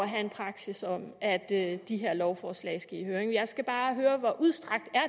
have en praksis om at de her lovforslag skal i høring jeg skal bare høre hvor udstrakt